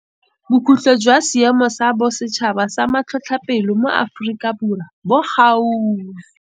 Bokhutlo jwa Seemo sa Bosetšhaba sa Matlhotlhapelo mo Aforika Borwa bo gaufi.